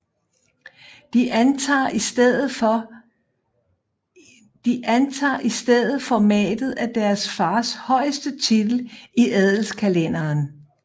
De antager i stedet formatet af deres fars højeste titel i adelskalenderen